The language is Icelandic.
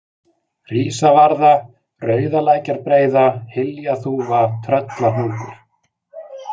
Hrísavarða, Rauðalækjarbreiða, Hyljaþúfa, Tröllahnúkur